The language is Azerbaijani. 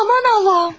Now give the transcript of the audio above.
Aman Allahım!